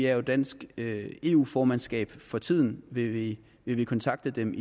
er jo dansk eu formandskab for tiden vil vi vi kontakte dem